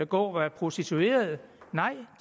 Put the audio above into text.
gå og være prostituerede